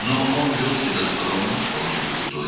Lakin o, özünü təvazökar, tamamilə layiqli aparırdı.